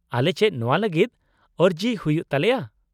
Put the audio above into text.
-ᱟᱞᱮ ᱪᱮᱫ ᱱᱚᱶᱟ ᱞᱟᱹᱜᱤᱫ ᱟᱹᱨᱡᱤ ᱦᱩᱭᱩᱜ ᱛᱟᱞᱮᱭᱟ ?